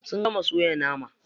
Sun gama soya nama.